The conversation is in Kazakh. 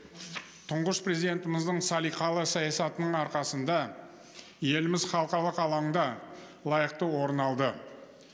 тұңғыш президентіміздің салиқалы саясатының арқасында еліміз халықалық алаңда лайықты орын алды